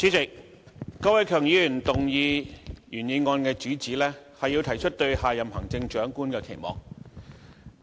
主席，郭偉强議員動議原議案的主旨，是要提出對下任行政長官的期望。